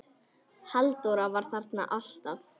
Halldór var þarna alltaf.